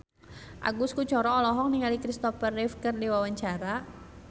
Agus Kuncoro olohok ningali Christopher Reeve keur diwawancara